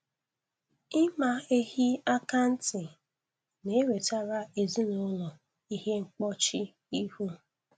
Ịma ehi akantị na-ewetara ezinụlọ ihe mkpọchi ihu